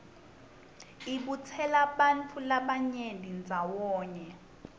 ibutsela bantfu labanyeni ndzawonye